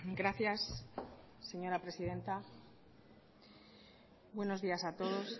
gracias señora presidenta buenos días a todos